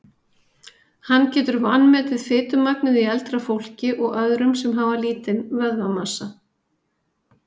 Hann getur vanmetið fitumagnið í eldra fólki og öðrum sem hafa lítinn vöðvamassa.